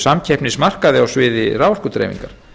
samkeppnismarkaði á sviði raforkudreifingar